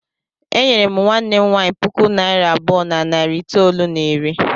E nyere nwanne m nwaanyị puku naịra abụọ na narị itoolu na iri.